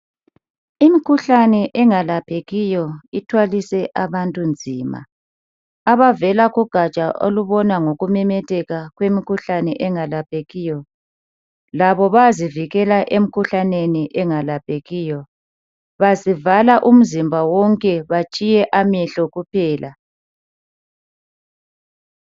Imikhuhlane engelaphekiyo ithwalise abantu nzima abavela kugaja olubona ngokumemetheka kwemikhuhlane engelaphekiyo labo bayazivikela emkhuhlaneni engelaphekiyo, bazivala umzimba wonke batshiye amehlo kuphela.